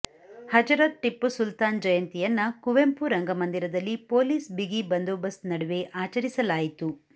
ಹಜರತ್ ಟಿಪ್ಪು ಸುಲ್ತಾನ್ ಜಯಂತಿಯನ್ನ ಕುವೆಂಪು ರಂಗಮಂದಿರದಲ್ಲಿ ಪೊಲೀಸ್ ಬಿಗಿ ಬಂದೋಬಸ್ತ್ ನಡುವೆ ಆಚರಿಸಲಾಯಿತು